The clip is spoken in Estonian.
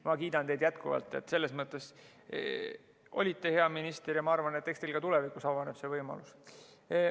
Ma kiidan teid jätkuvalt, selles mõttes, et olite hea minister ja ma arvan, et eks teil ka tulevikus avaneb see võimalus.